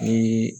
Ni